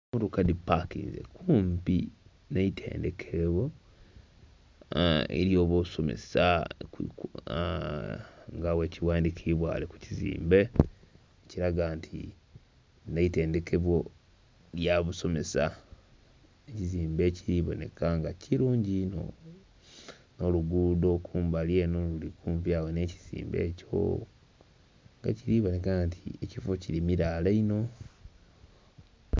Emotoka dhipakinze kumpi n'eitendhekero erya abasomesa aa nga bwekighandhikibwa kukizimbe ekiraga nti lino itendhekero lyabasomesa ekizimbe ekiriboneka bulungi inho n'oluguudo kumbali eno kumpi agho n'ekizimbe ekyo ekiriraga nti ekifo kiri mirala inho.